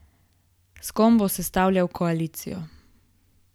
S kom bo sestavljal koalicijo?